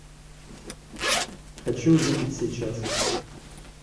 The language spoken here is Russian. хочу увидеть сейчас